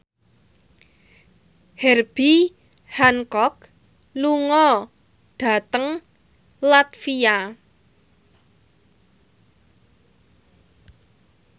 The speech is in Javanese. Herbie Hancock lunga dhateng latvia